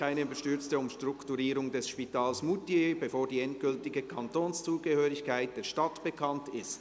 «Keine überstürzte Umstrukturierung des Spitals Moutier bevor die endgültige Kantonszugehörigkeit der Stadt bekannt ist».